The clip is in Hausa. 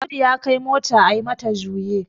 Audu ya Kai motar a yi mata juye